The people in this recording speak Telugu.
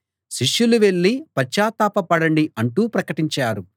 శిష్యులు వెళ్ళి పశ్చాత్తాప పడండి అంటూ ప్రకటించారు